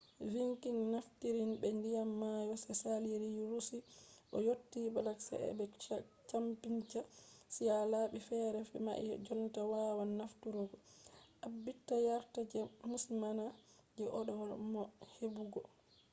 vikings naftiri be ndiyam mayo je saliri russia ɓe yottita black sea be caspian sea. labi fere mai ha jotta wawan nafturgo. ɗaɓɓita yarda je musamman je ɗo waɗa bo ne heɓugo